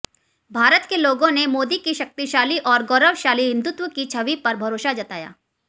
भारत के लोगों ने मोदी की शक्तिशाली और गौरवशाली हिंदुत्व की छवि पर भरोसा जताया